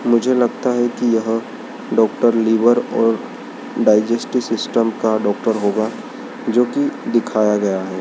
मुझे लगता है कि यह डॉक्टर लिवर और डाइजेस्टिव सिस्टम का डॉक्टर होगा जो की दिखाया गया है।